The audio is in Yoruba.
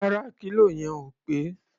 Rárá, kílò yẹn ò pé.